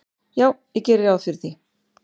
"""Já, ég geri ráð fyrir því."""